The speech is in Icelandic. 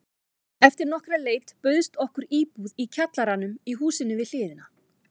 Eftir nokkra leit bauðst okkur íbúð í kjallaranum í húsinu við hliðina.